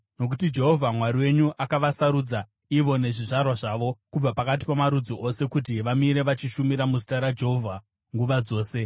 nokuti Jehovha Mwari wenyu akavasarudza ivo nezvizvarwa zvavo, kubva pakati pamarudzi ose kuti vamire vachishumira muzita raJehovha nguva dzose.